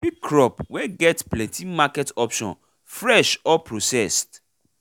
pick crops wey get plenty market options fresh or processed